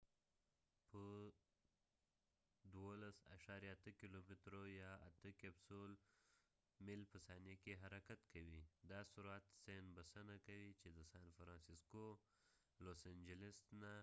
کپسول capsule به د 12.8 کېلومترو يا 8 میل په ثانیه کې حرکت کوي . دا سرعت بسنه کوي چې د سان فرانسسکوsan francisco نه